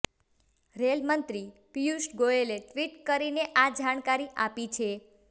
rail મંત્રી પીયૂષ ગોયલે tweet કરીને આ જાણકારી આપી છે